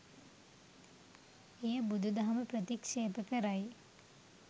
එය බුදුදහම ප්‍රතික්ෂේප කරයි.